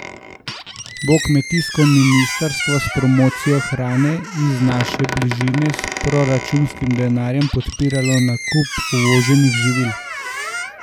Bo kmetijsko ministrstvo s promocijo hrane iz naše bližine s proračunskim denarjem podpiralo nakup uvoženih živil?